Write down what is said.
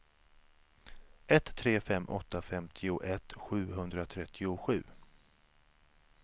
ett tre fem åtta femtioett sjuhundratrettiosju